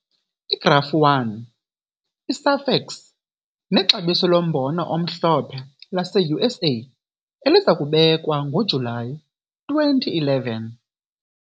Igrafu 1- i-SAFEX nexabiso lombona omhlophe laseUSA eliza kubekwa ngoJulayi 2011.